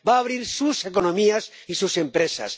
va a abrir sus economías y sus empresas.